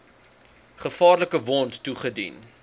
gevaarlike wond toegedien